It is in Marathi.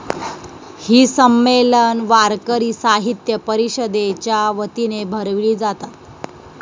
ही संमेलन वारकरी साहित्य परिषदेच्या वतीने भरवली जातात.